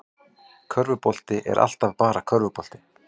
Körfubolti er alltaf bara körfubolti